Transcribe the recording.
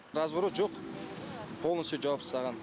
разворот жоқ полностью жауып стаған